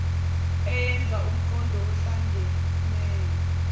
eyenza umqondo ohlangeneyo